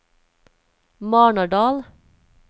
Marnardal